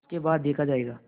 उसके बाद देखा जायगा